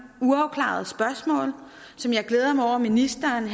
uafklarede spørgsmål som jeg glæder mig over ministeren